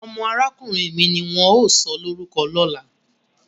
Omo arakunrin mi ni won o sọlorukọ lola.